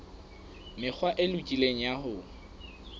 mekgwa e lokileng ya ho